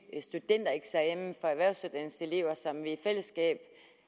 studentereksamen for erhvervsuddannelseselever som vi i fællesskab